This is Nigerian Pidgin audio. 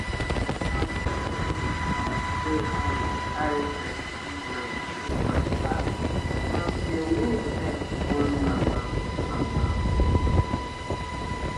i bin no sabi how the kind style wey i dey carry breastfeed my pikin matter until me sef turn mama. mama.